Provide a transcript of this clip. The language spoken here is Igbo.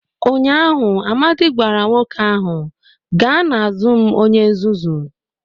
Ụnyaahụ, Amadi gwara nwoke ahụ, gaa n'azụ m onye nzuzu!